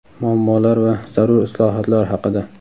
muammolar va zarur islohotlar haqida.